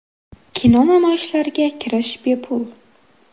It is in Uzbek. Kino namoyishlariga kirish bepul.